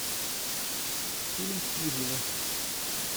фильм хижина